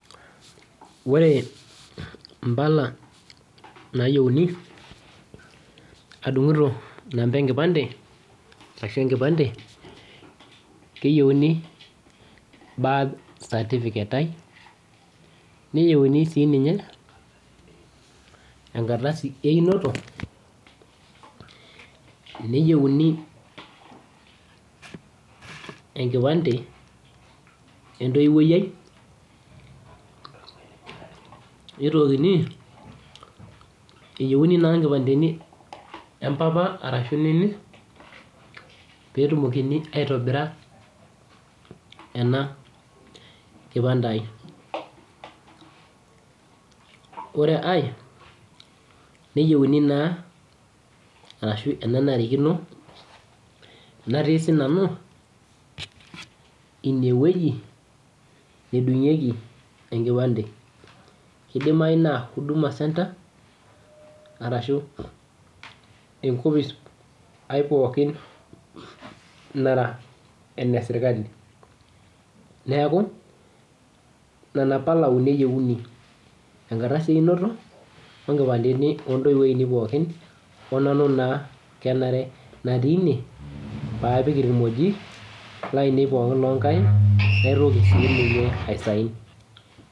Ore impala nayieuni, adung'ito inamba enkipande, ashu enkipande, keyieuni birth certificate ai, neyieuni si ninye, enkardasi einoto, neyieuni enkipande entoiwuoi ai, nitokini, eyieuni naa nkipandeni empapa arashu nini, petumokini aitobira ena kipande ai. Ore ai, neyieuni naa arashu enanarikino, natii sinanu inewueji nedung'ieki enkipande. Kidimayu naa huduma centre, arashu enkopis aipookin nara ene sirkali. Neeku, nena pala uni eyieuni. Enkardasi einoto, wonkipandeni ontoiwuo ainei pookin, onanu naa kenare natii ine, paapik irkimojik, lainei pookin lonkaik, naitoki sininye ai sign.